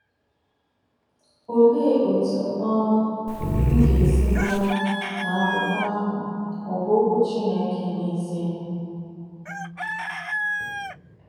“ OLEE otú um m ga-esi mara ma akwụkwọ ahụ ọ̀ bụ Okwu Chineke n’ezie?